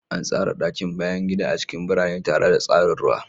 An tsara ɗakin bayan gida a cikin birane tare da tsarin ruwa.